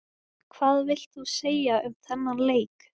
Hvað vilt þú segja um þennan leik?